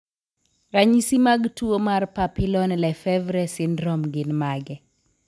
Ranyisi mag tuwo mar Papillon Lefevre syndrome gin mage?